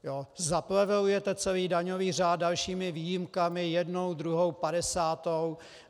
Zaplevelujete celý daňový řád dalšími výjimkami, jednou, druhou, padesátou.